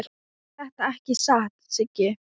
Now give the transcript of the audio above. Er það ekki satt, Siggi?